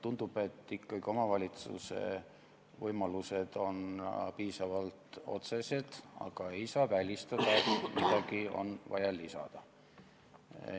Tundub, et omavalitsuse võimalused on ikkagi piisavalt otsesed, aga ei saa välistada, et midagi on vaja lisada.